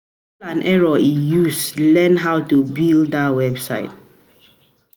trial and error e use um learn learn how to build dat website o.